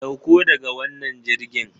Sauko daga wannan jirgin!